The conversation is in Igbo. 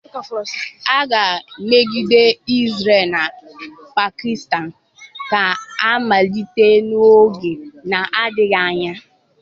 Agha megide Israel na Pakistan ga-amalite n'oge na-adịghị anya